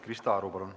Krista Aru, palun!